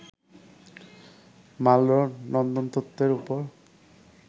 Marlboro নন্দনতত্ত্বের উপর